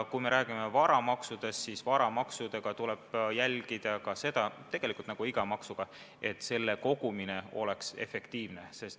Kui rääkida varamaksudest, siis nendegi puhul nagu tegelikult nagu iga maksu puhul peab nende kogumine olema efektiivne.